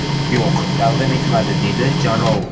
Yo‘q, taqdim etmadi”, dedi Jarov.